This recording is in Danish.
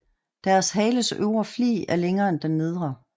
Deres hales øvre flig er længere end den nedre